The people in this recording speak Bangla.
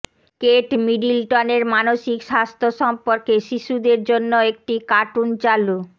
কেট মিডলটনের মানসিক স্বাস্থ্য সম্পর্কে শিশুদের জন্য একটি কার্টুন চালু